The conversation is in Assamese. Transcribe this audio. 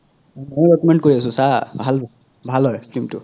মই recommend কৰি আছো চা ভাল ভাল হয় film তো